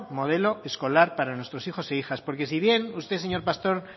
modelo escolar para nuestros hijos e hijas porque si bien usted señor pastor